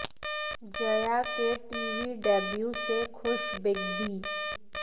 जया के TV debut से खुश बिग बी